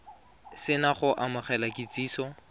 se na go amogela kitsiso